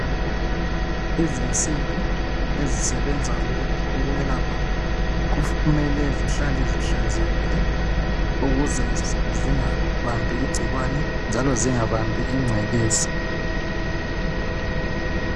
Izimsimbi ezisebenza ukwelapha kumele zihlale zihlanzekile ukuze zingabambi ingcikwane njalo zingabambi ingcekeza.